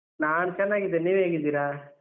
ನಾನ್ ಚೆನ್ನಾಗಿದ್ದೇನೆ ನೀವ್ ಹೇಗಿದ್ದೀರಾ?